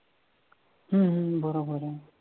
हम्म बरोबर आहे